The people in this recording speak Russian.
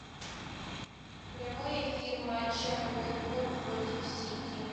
прямой эфир матча уотфорд против сити